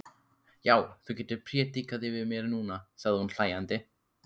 Já, þú getur prédikað yfir mér núna, sagði hún hlæjandi.